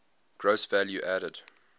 gross value added